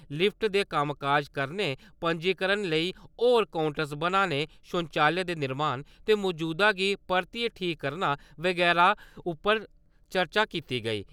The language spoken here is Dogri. लिफ्ट दे कम्मकाज करने पंजीकरण लेई होर कोऊंटर बनाने शौचालय दे निर्माण ते मौजूदा गी परतियै ठीक करना बगैरा उप्पर चर्चा कीती गेई।